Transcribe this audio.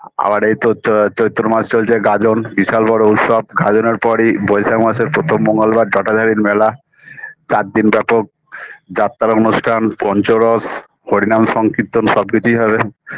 আবার এই চৈত্র চৈত্র মাস চলছে গাজন বিশাল বড় উৎসব গাজনের পরেই বৈশাখ মাসের প্রথম মঙ্গলবার জটাধারীর মেলা চারদিন ব্যাপক যাত্রা অনুষ্ঠান পঞ্চরস হরিনাম সংকীর্তন সবকিছুই হবে